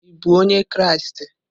Ị bụ onye Kraịst?